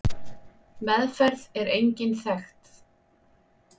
Meðferð er engin þekkt.